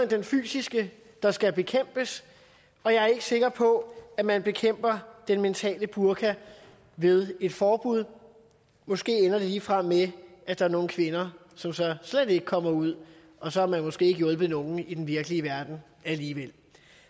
den fysiske der skal bekæmpes og jeg er ikke sikker på at man bekæmper den mentale burka ved et forbud måske ender det ligefrem med at der er nogle kvinder som så slet ikke kommer ud og så har man måske ikke hjulpet nogen i den virkelige verden alligevel